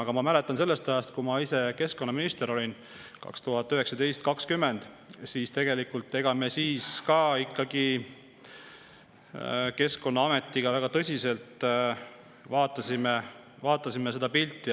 Aga ma mäletan sellest ajast, kui ma ise keskkonnaminister olin 2019–2020, et tegelikult me siis ka Keskkonnaametiga väga tõsiselt vaatasime seda pilti.